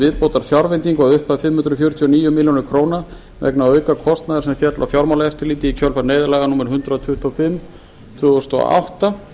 viðbótarfjárveitingu að upphæð fimm hundruð fjörutíu og níu milljónir króna vegna aukakostnaðar sem féll á fjármálaeftirlitið í kjölfar neyðarlaga númer hundrað tuttugu og fimm tvö þúsund og átta